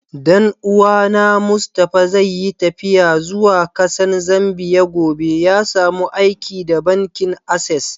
Dan uwa na Mustapha zai yi taffiya zuwa Kasan Zambia gobe. Ya samu aiki da bankin access.